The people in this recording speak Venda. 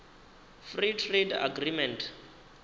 free trade agreement